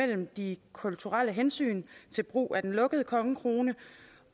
det kulturelle hensyn til brugen af den lukkede kongekrone